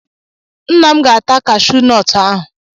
Nna m ga-ata kashuu nọọtụ ahụ